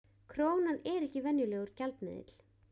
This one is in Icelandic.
Krónan er ekki venjulegur gjaldmiðill